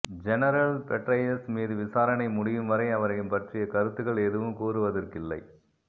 general Petraeus மீது விசாரணை முடியும் வரை அவரை பற்றிய கருத்துக்கள் எதுவும் கூறுவதற்கில்லை